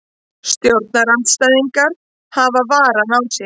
Stjórnarandstæðingar hafa varann á sér